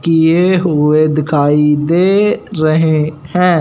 किए हुए दिखाई दे रहे हैं।